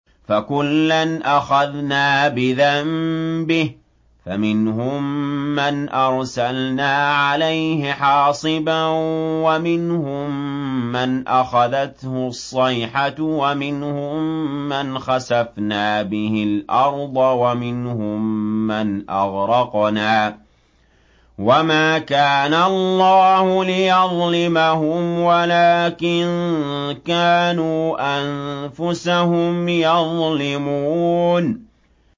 فَكُلًّا أَخَذْنَا بِذَنبِهِ ۖ فَمِنْهُم مَّنْ أَرْسَلْنَا عَلَيْهِ حَاصِبًا وَمِنْهُم مَّنْ أَخَذَتْهُ الصَّيْحَةُ وَمِنْهُم مَّنْ خَسَفْنَا بِهِ الْأَرْضَ وَمِنْهُم مَّنْ أَغْرَقْنَا ۚ وَمَا كَانَ اللَّهُ لِيَظْلِمَهُمْ وَلَٰكِن كَانُوا أَنفُسَهُمْ يَظْلِمُونَ